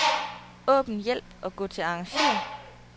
Åbn hjælp og gå til arrangér.